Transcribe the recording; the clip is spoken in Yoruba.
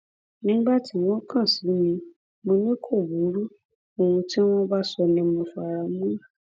nígbà tí wọn kàn sí mi mọ ni kò burú ohun tí wọn bá sọ ni mo fara mọ